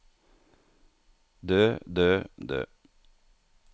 dø dø dø